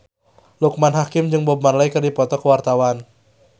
Loekman Hakim jeung Bob Marley keur dipoto ku wartawan